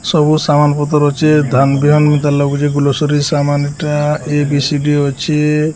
ସବୁ ସାମାନ୍ ପତର ଅଛେ। ଗ୍ରୋସରୀ ସାମାନ୍ ଟା ଏ ବି ସି ଡି ଅଛେ।